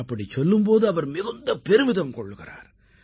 அப்படிச் சொல்லும் போது அவர் மிகுந்த பெருமிதம் கொள்கிறார்